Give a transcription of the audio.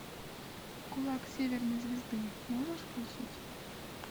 кулак северной звезды можешь включить